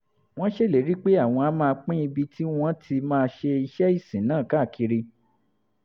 wọ́n ṣèlérí pé àwọn á máa pín ibi tí àwọn ti máa ṣe iṣẹ́ ìsìn náà káàkiri